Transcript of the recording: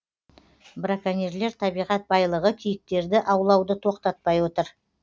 браконьерлер табиғат байлығы киіктерді аулауды тоқтатпай отыр